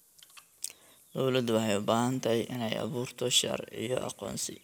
Dawladdu waxay u baahan tahay inay abuurto sharciyo aqoonsi.